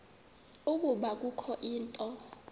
ukuba kukho into